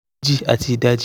ji ati idaji